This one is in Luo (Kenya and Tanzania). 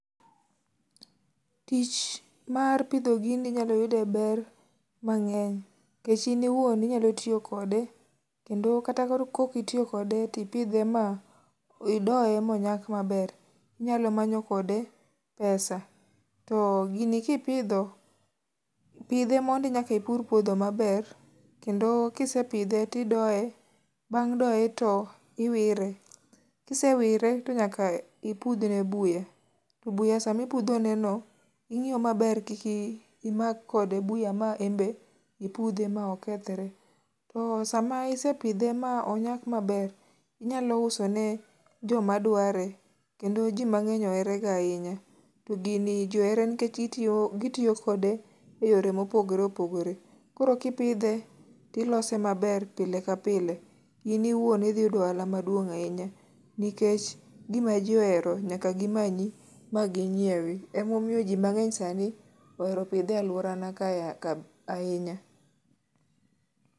Tich mar pidho gini inyalo yud e ber mang'eny. Nikech in iwuon inyalo tiyo kode ,kendo kata koro ka ok itiyo kode, to ipidhe ma idoye ma onyak maber, inyalo manyo kode pesa. To gini kipidho ,pidhe mondi nyaka ipur pwodho maber, kendo kisepidhe to idoye, bang' doye to iwire. Kisewire to nyaka ipudhne buya. To buya sama ipudhoneno, ing'iyo maber kik imak kode buya ma enbe ipudhe ma okethre. To sama isepidhe ma onyak maber, inyalo usone joma dware, kendo ji mang'eny oherega ahinya. To gini ji ohere nikech gitiyo kode e yore mopogoreopogore. Koro kipidhe , to ilose maber pile ka pile. In iwuon idhi yudo ohala maduong' ahinya nikech gima ji ohero nyaka gimanyi ma ginyiewi. Emomiyo ji mang'eny sani ohero pidhe e alworana ka ahinya.